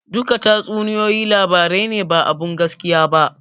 Duka tatsuniyoyi labarai ne ba abun gaskiya ba